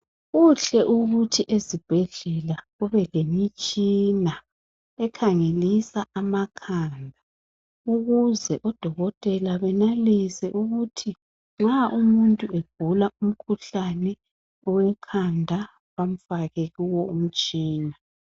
Kuhle ukuthi ezibhedlela kube lemitshina ekhangelisa amakhanda ukuze odokotela benelise ukuthi nxa umuntu egula umkhuhlane wekhanda bamfake kuwo umtshina